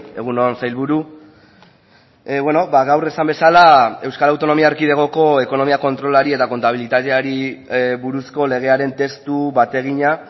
egun on sailburu gaur esan bezala euskal autonomia erkidegoko ekonomia kontrolari eta kontabilitateari buruzko legearen testu bategina